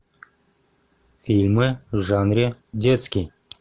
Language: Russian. фильмы в жанре детский